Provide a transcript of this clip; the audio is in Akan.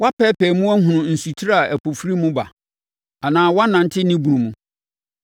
“Woapɛɛpɛɛ mu ahunu nsutire a ɛpo firi mu ba anaa woanante ne bunu mu?